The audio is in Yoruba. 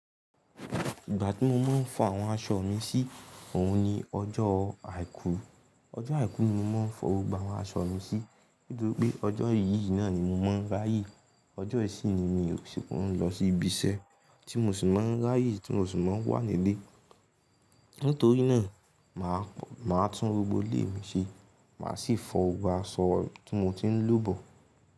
Ìgbà tí mo máa ń fọ àwọn aṣọ mi sí, òun ni ọjọ́ àìkú. Ọjọ́ àìkú ni mo máa ń fọ gbogbo àwọn aṣọ mi sí, nítorí pé ọjọ́ yìí náà ni mo máa ń ráyè. Ọjọ́ yìí sì ni mi ò sì kò rún lọ sí ibi iṣẹ́ tí mo sì máa ń ráyè tí mo sì máa ń wà nílé. Nítorí náà, mà má tún gbogbo ilé mi ṣe, mà á sì fọ gbogbo aṣọ tí mo ti ń lò bọ̀